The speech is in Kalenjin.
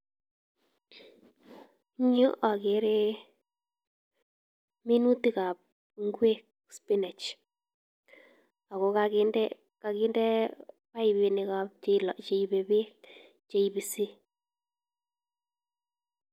Eng yuu okere minutikab ingwek sipineg ak ko kokinde paipinik cheibe beekcheibisi.